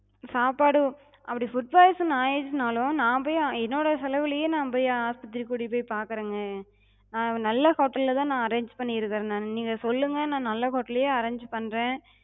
சாப்பாடு அப்டி food poison ஆயிருச்சுனாலு நாப்போய் என்னோட செலவுலயே நாப்போய் ஆஸ்பத்திரிக்கு கூட்டிட்டு போய்ப் பாக்குறேங்க. ஹம் நல்ல hotel லதா நா arrange பண்ணிருக்கே நா. நீங்க சொல்லுங்க நா நல்ல hotel லயே arrange பண்றே.